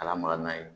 Ka lamaka n'a ye